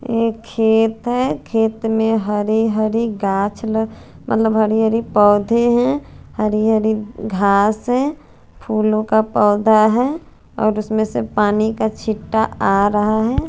एक खेत है खेत में हरी हरी घाच ल मतलब हरी हरी पोधे है हरी हरी घास है फुलो का पोधा है और उसमे से पानी का छिटा आ रहा है।